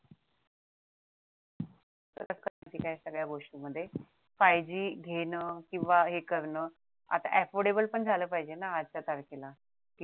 ठीक आहे सगळ्या गोष्टी मध्ये five G घेण किंवा हे करण आता affortable पण झालं पाहिजे ना आजच्या तारखेला